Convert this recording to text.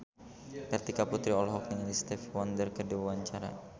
Kartika Putri olohok ningali Stevie Wonder keur diwawancara